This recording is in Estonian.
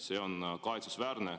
See on kahetsusväärne.